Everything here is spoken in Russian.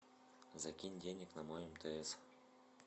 закинь денег на мой мтс